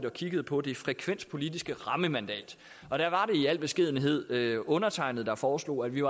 og kiggede på det frekvenspolitiske rammemandat og der var i al beskedenhed undertegnede der foreslog at vi